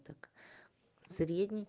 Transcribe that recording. так средний